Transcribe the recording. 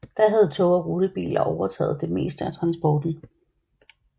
Da havde tog og rutebiler overtaget det meste af transporten